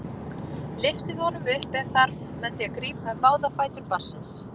Lyftið honum upp ef þarf með því að grípa um báða fætur barnsins.